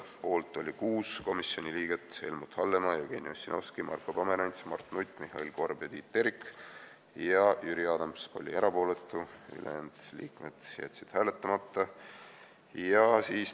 Poolt oli 6 komisjoni liiget , Jüri Adams oli erapooletu, ülejäänud liikmed jätsid hääletamata.